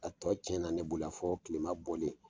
A tɔ cɛn na ne bolo yan fɔ kilema bɔlen.